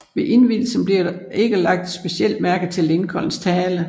Ved indvielsen blev der ikke lagt specielt mærke til Lincolns tale